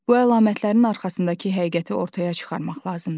Bu əlamətlərin arxasındakı həqiqəti ortaya çıxarmaq lazımdır.